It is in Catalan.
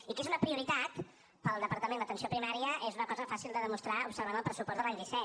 i que és una prioritat per al departament l’atenció primària és una cosa fàcil de demostrar observant el pressupost de l’any disset